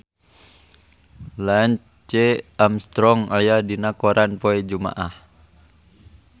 Lance Armstrong aya dina koran poe Jumaah